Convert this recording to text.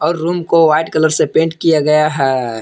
और रूम को white colour से पेंट किया गया है।